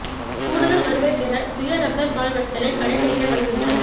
கூடுதல் வருவாய் பெற சுய ரப்பா் பால் வடித்தலை கடைப்பிடிக்க வலியுறுத்தல்